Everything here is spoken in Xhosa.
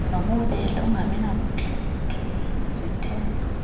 nobubele ungabinamkhethe zithembe